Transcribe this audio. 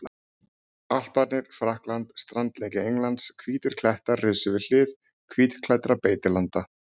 Alparnir, Frakkland, strandlengja Englands, hvítir klettar risu við hlið hvítklæddra beitilanda.